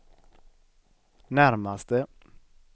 närmaste